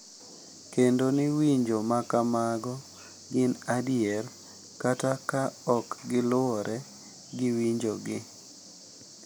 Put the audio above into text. Kendo ni winjo ma kamago gin adier, kata ka ok giluwore gi winjogi.